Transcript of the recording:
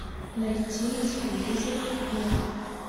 найти на телевизоре мир